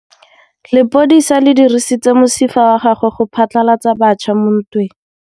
Lepodisa le dirisitse mosifa wa gagwe go phatlalatsa batšha mo ntweng.